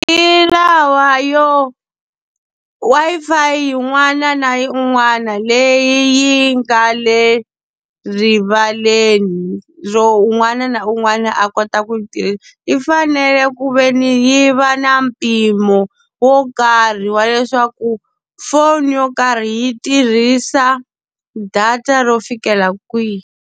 Hi lawa yo Wi-Fi yin'wana na yin'wana leyi yi nga le rivaleni ro un'wana na un'wana a ko ta ku yi , yi fanele ku ve ni yi va na mpimo wo karhi wa leswaku phone yo karhi yi tirhisa data ro fikela kwihi.